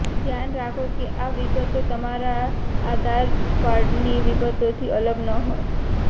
ધ્યાન રાખો કે આ વિગતો તમારા આધાર કાર્ડની વિગતોથી અલગ ન હોય